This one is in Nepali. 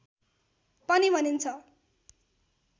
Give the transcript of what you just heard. पनि भनिन्छ।